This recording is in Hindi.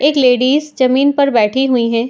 एक लेडीज जमीन पर बैठी हुई हैं।